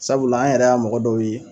Sabula an yɛrɛ y'a mɔgɔ dɔw ye